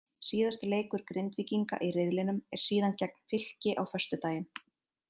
Síðasti leikur Grindvíkinga í riðlinum er síðan gegn Fylki á föstudaginn.